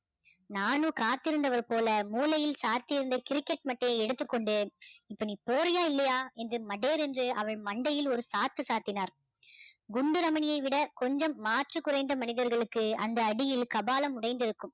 நானு காத்திருந்தவர் போல மூலையில் சாத்தியிருந்த கிரிக்கெட் மட்டையை எடுத்துக்கொண்டு இப்போ நீ போறியா இல்லையா என்று மடேர் என்று அவள் மண்டையில் ஒரு சாத்து சாத்தினார் குண்டு ரமணியை விட கொஞ்சம் மாற்று குறைந்த மனிதர்களுக்கு அந்த அடியில் கபாலம் உடைந்திருக்கும்